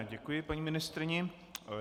Já děkuji paní ministryni.